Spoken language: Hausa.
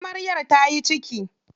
Amaryar ta yi ciki.